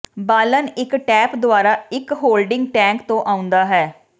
ਬਾਲਣ ਇੱਕ ਟੈਪ ਦੁਆਰਾ ਇੱਕ ਹੋਲਡਿੰਗ ਟੈਂਕ ਤੋਂ ਆਉਂਦਾ ਹੈ